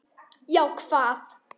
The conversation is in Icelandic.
Já, hvað?